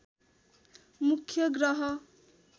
मुख्य ग्रह